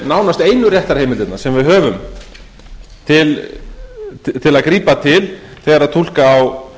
nánast einu réttarheimildirnar sem við höfum til að grípa til þegar túlka á